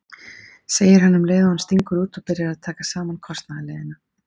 segir hann um leið og hann stingur út og byrjar að taka saman kostnaðarliðina.